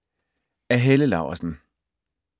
Af Helle Laursen